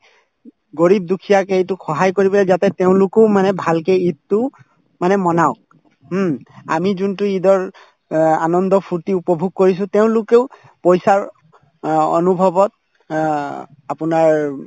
garib দুখীয়াক এইটো সহায় কৰিবলৈ যাওঁতে তেওঁলোকো মানে ভালকে ঈদতো মানে manav ক হুম আমি যোনতো ঈদৰ অ আনন্দ ফূৰ্তি উপভোগ কৰিছো তেওঁলোকেও পইচাৰ অ অনুভৱত অ আপোনাৰ